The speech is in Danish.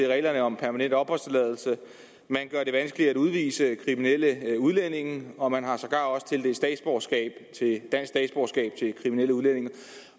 reglerne om permanent opholdstilladelse man gør det vanskeligt at udvise kriminelle udlændinge om man har sågar også tildelt dansk statsborgerskab til kriminelle udlændinge